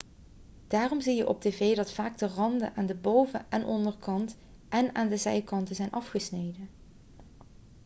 daarom zie je op tv dat vaak de randen aan de boven en onderkant en aan de zijkanten zijn afgesneden